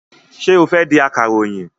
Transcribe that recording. Ṣé o fẹ́ di akàròyìn?